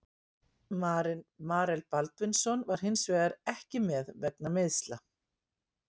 Marel Baldvinsson var hinsvegar ekki með vegna meiðsla.